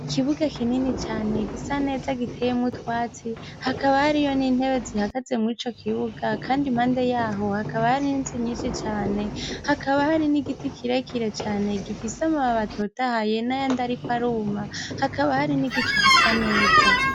Ikibuga kinini cane gisa neza giteyemwo utwatsi hakaba hariyo n'intebe zihagaze murico kibuga kandi impande yaho hakaba hariho inzu nyishi cane hakaba hari n'igiti kirekire cane gifise amababi atotahaye n'ayandi ariko aruma hakaba hari n'igicu gisa neza.